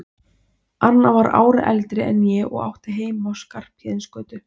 Anna var ári eldri en ég og átti heima á Skarphéðinsgötu.